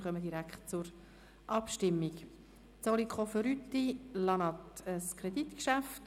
Somit kommen wir direkt zur Abstimmung über das Kreditgeschäft: